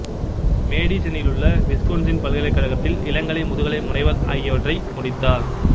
மேடிசனிலுள்ள Wisconsin பல்கலைக்கழகத்தில் இளங்கலை முதுகலை முனைவர் ஆகியவற்றை முடித்தார்